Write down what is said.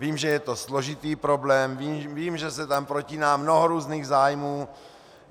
Vím, že je to složitý problém, vím, že se tam protíná mnoho různých zájmů.